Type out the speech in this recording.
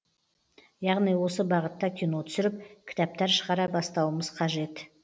яғни осы бағытта кино түсіріп кітаптар шығара бастауымыз қажет